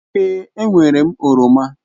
E nwèré m oroma.